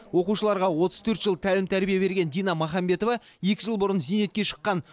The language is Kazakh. оқушыларға отыз төрт жыл тәлім тәрбие берген дина махамбетова екі жыл бұрын зейнетке шыққан